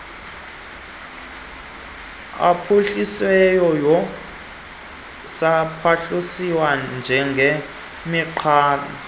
aphuhlisisweyo nasaphuhliswayo njengemigaqo